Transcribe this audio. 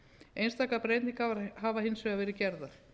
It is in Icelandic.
einstakar breytingar hafa hins vegar verið gerðar